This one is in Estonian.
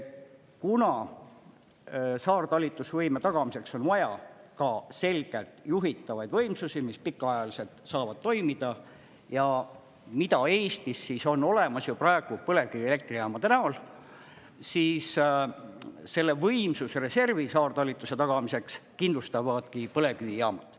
Kuna saartalitlusvõime tagamiseks on vaja ka selgelt juhitavaid võimsusi, mis pikaajaliselt saavad toimida ja mida Eestis on olemas ju praegu põlevkivielektrijaamade näol, siis selle võimsusreservi saartalitluse tagamiseks kindlustavadki põlevkivijaamad.